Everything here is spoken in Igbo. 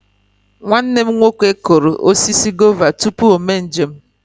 Nwanne m nwoke kụrụ osisi gova tupu o mee njem.